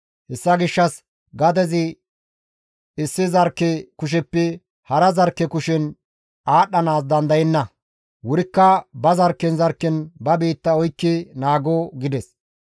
Hessa gishshas gadezi issi zarkke kusheppe hara zarkke kushen aadhdhanaas dandayenna; wurikka ba zarkken zarkken ba biitta oykki naago» gides.